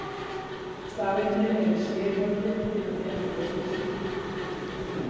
Stafirnir eru sérhæfðir til að nema ljós í lítilli birtu.